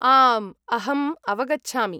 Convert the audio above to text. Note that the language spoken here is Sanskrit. आम्, अहम् अवगच्छामि।